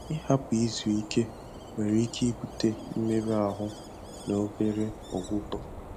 Ịhapụ izu ike nwere ike ibute mmerụ ahụ na obere ọgwụgwọ